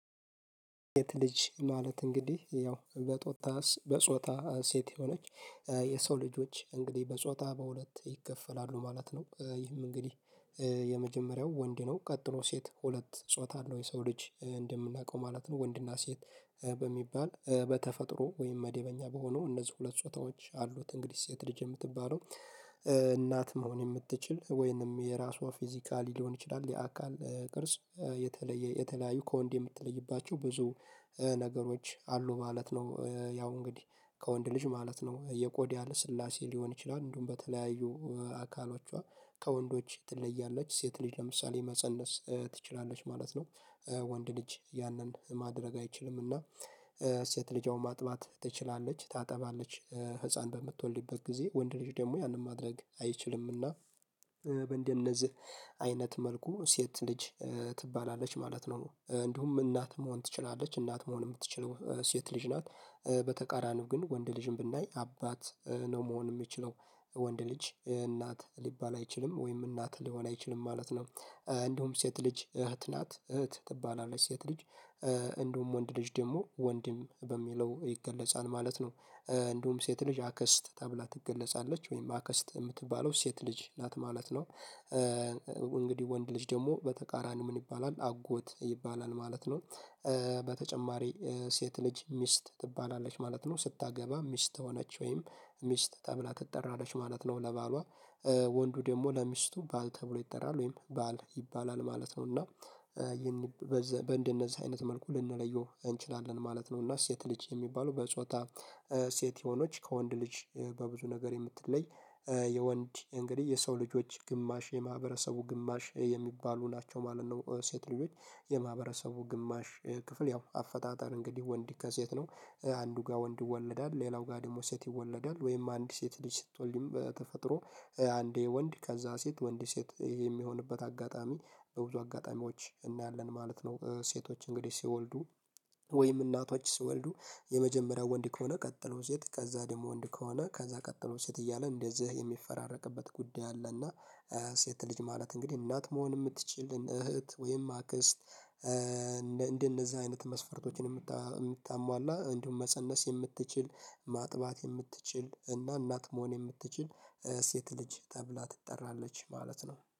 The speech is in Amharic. የት ልጅ ማለት እንግዲህ ያው በጦጣ በጾታ ሴት የሆነች የሰው ልጆች እንግዲህ በጾታ በሁለት ይከፈላሉ ማለት ነው። ይህም እንግዲህ የመጀመሪያው ወንድ ነው ቀጥሮ ሴት ሁለት ጾታ አለው የሰው ልጅ እንደምናውቀው ማለት ነው ወንድና ሴት በሚባል በተፈጥሮ ወይም መደበኛ በሆኑ እነዚህ ሁለት ጾታዎች አሉት እንግዲህ ሴት ልጅ የምትባለው እናት መሆን የምትችል ወይንም የራሷ ፊዚካሊ ሊሆን ይችላል የአካል ቅርጽ የተለየ የተለያዩ ከወንድ የምትለይባቸው ብዙ ነገሮች አሉ ማለት ነው። ያው እንግዲህ ከወንድ ልጅ ማለት ነው የቆዳ ስላሴ ሊሆን ይችላል እንደውም በተለያዩ አካላችኋ ከወንዶች ትለያለች ሴት ልጅ ለምሳሌ መፀነስ ትችላለች ማለት ነው። ወንድ ልጅ ያንን ማድረግ አይችልምና እሴት ልጅ አሁን ማጥባት ትችላለች ታጠባለች ህፃን በምትወልድበት ጊዜ ወንድ ልጅ ደግሞ ያንን ማድረግ አይችልምና። በእንደነዚህ አይነት መልኩ ሴት ልጅ ትባላለች ማለት ነው እንዲሁም እናት መሆን ትችላለች እናት መሆን የምትችለው ሴት ልጅ ናት። በተቃራኒው ግን ወንድ ልጅም ብናይ አባት ነው መሆን የሚችለው ወንድ ልጅ እናት ሊባል አይችልም ወይም እናት ሊሆን አይችልም ማለት ነው። እንዲሁም ሴት ልጅ እህት ናት እህት ትባላለች ሴት ልጅ። እንደውም ወንድ ልጅ ደግሞ ወንድም በሚለው ይገለጻል ማለት። እንዲሁም ሴት ልጅ አክስት ተብላ ትገለጻለች ወይም አክስት የምትባለው ሴት ልጅ ናት ማለት ነው። እንግዲህ ወንድ ልጅ ደግሞ በተቃራኒው ምን ይባላል አጎት ይባላል ማለት ነው። በተጨማሪ ሴት ልጅ ሚስት ትባላለች ማለት ነው ስታገባ ሚስት ሆነች ወይም ሚስት ተብላ ትጠራለች ማለት ነው ለባሏ ወንዱ ደግሞ ለሚስቱ ባል ተብሎ ይጠራል ወይም ባል ይባላል ማለት ነው እና። እንደነዚህ አይነት መልኩ ልንለየው እንችላለን ማለት ነው። እና ሴት ልጅ የሚባለው በጾታ ሴት የሆኖች ከወንድ ልጅ በብዙ ነገር የምትለይ የወንድ እንግዲህ የሰው ልጆች ግማሽ የማህበረሰቡ ግማሽ የሚባሉ ናቸው ማለት ነው። ሴት ልጆች የማህበረሰቡ ግማሽ ክፍል ያው አፈጣጠር እንግዲህ ወንድ ከሴት ነው። አንዱ ጋር ወንድ ይወለዳል ሌላው ጋር ደግሞ ሴት ይወለዳል ወይም አንድ ሴት ልጅ ስትወልድም በተፈጥሮ አንዴ ወንድ ከዛ ሴት ወንድ ሴት ይሄ የሚሆንበት አጋጣሚ በብዙ አጋጣሚዎች እናያለን ማለት ነው። ሴቶች እንግዲህ ሲወልዱ ወይም እናቶች ሲወልዱ የመጀመሪያው ወንድ ከሆነ ቀጥሎ ሴት ከዛ ደግሞ ወንድ ከሆነ ከዛ ቀጥሎ ሴት እያለ እንደዚህ የሚፈራረቅበት ጉዳይ አለና። ሴት ልጅ ማለት እንግዲህ እናት መሆን የምትችልን እህት ወይም አክስት። እንደነዚህ አይነት መስፈርቶችን ምታሟላ እንዲሁም መፀነስ የምትችል ማጥባት የምትችል እና እናት መሆን የምትችል ሴት ልጅ ተብላ ትጠራለች ማለት ነው